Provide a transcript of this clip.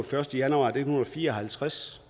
første januar nitten fire og halvtreds